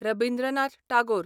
Rabindranath Tagore